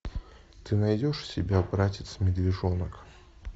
ты найдешь у себя братец медвежонок